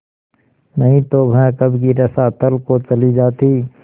नहीं तो वह कब की रसातल को चली जाती